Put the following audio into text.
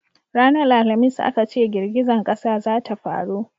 ranar alhamis a ka ce girgizan ƙasa za ta faru